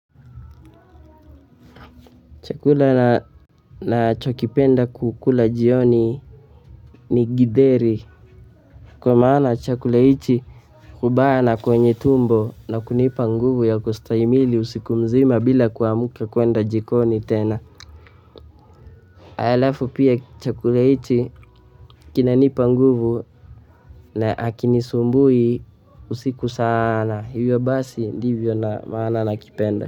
Chakula nachokipenda kukula jioni ni githeri kwa maana chakula hiki hubaa na kwenye tumbo na kunipa nguvu ya kustahimili usiku mzima bila kuamka kwenda jikoni tena alafu pia chakula hiki kina nipa nguvu na hakinisumbui usiku sana, hivyo basi ndivyo na maana na kipenda.